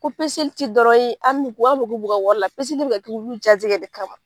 Ko ti dɔrɔn ye an min an mugo b'u ka wari la bi ka kɛ olu jaati yɛrɛ de kama.